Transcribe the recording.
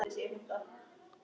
Hún: Hann hitti.